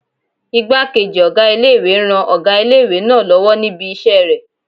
Ìgbákejì ọgá ilé-ìwé ń ran ọgá ilé-ìwé náà lọ́wọ́ níbi isẹ́ rẹ̀